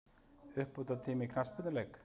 Uppbótartími í knattspyrnuleik?